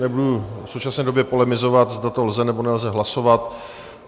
Nebudu v současné době polemizovat, zda to lze, nebo nelze hlasovat.